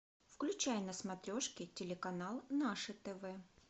включай на смотрешке телеканал наше тв